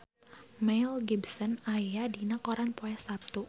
Mel Gibson aya dina koran poe Saptu